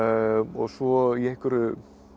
svo í einhverju